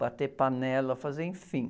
bater panela, fazer, enfim.